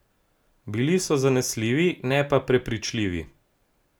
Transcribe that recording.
Bili so zanesljivi, ne pa prepričljivi.